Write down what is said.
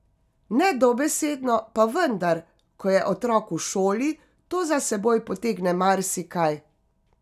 Ne dobesedno, pa vendar, ko je otrok v šoli, to za seboj potegne marsikaj.